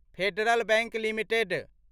federal Bank limited